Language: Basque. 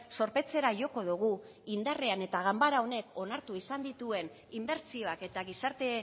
zorpetzera joko dugu indarrean eta ganbara honek onartu izan dituen inbertsioak eta gizarte